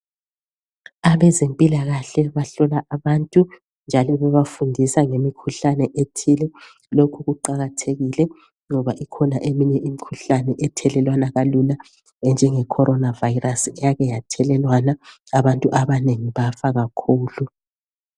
Abezempilakahle bahlola abantu njalo bebafundisa ngemikhuhlane ethile, lokhu kuqakathekile ngoba ikhona eminye imikhuhlane ethelelwana kalula enjenge corona virus eyake yathelelwana abantu abanengi bafa kakhulu.